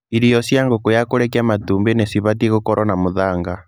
ĩrio cia ngũkũ ya kũrekia matumbĩ nĩ cibatiĩ gwĩkĩrwo mũthanga.